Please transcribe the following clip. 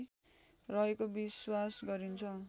रहेको विश्वास गरिन्छ